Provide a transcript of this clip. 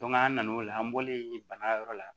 an na n'o la an bɔlen bana yɔrɔ la